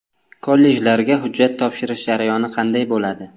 Kollejlarga hujjat topshirish jarayoni qanday bo‘ladi?